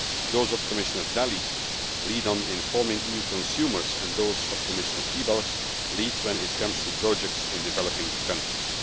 Those of Commissioner Dalli lead on informing EU consumers, and those of Commissioner Piebalgs lead when it comes to projects in developing countries.